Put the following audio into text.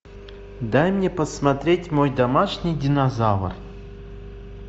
дай мне посмотреть мой домашний динозавр